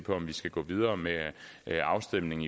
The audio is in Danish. om vi skal gå videre med afstemning